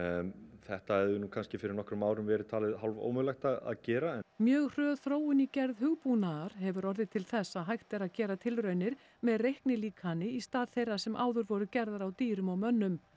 þetta hefði nú kannski fyrir nokkrum árum verið talið ómögulegt að gera mjög hröð þróun í gerð hugbúnaðar hefur orðið til þess að hægt er að gera tilraunir með reiknilíkani í stað þeirra sem áður voru gerðar á dýrum og mönnum